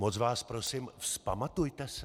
Moc vás prosím, vzpamatujte se.